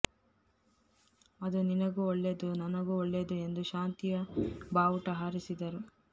ಅದು ನಿನಗೂ ಒಳ್ಳೇದು ನನಗೂ ಒಳ್ಳೇದು ಎಂದು ಶಾಂತಿಯ ಬಾವುಟ ಹಾರಿಸಿದರು